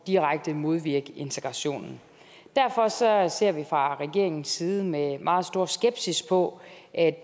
direkte modvirke integrationen derfor ser ser vi fra regeringens side med meget stor skepsis på at